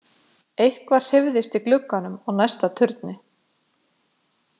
Eitthvað hreyfðist í glugganum á næsta turni.